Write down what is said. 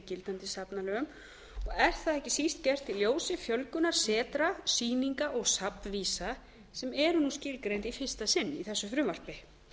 gildandi safnalögum og er það ekki síst gert í ljósi fjölgunar setra sýninga og safnvísa sem eru nú skilgreind í fyrsta sinn í þessu frumvarpi